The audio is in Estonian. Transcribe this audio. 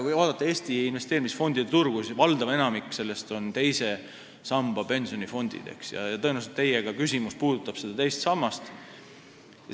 Kui vaadata Eesti investeerimisfondide turgu, siis valdav osa sellest on teise samba pensionifondid ja tõenäoliselt puudutab ka teie küsimus teist pensionisammast.